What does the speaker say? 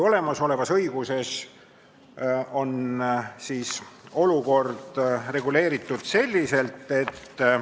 Olemasolevas õiguses on olukord reguleeritud järgmiselt.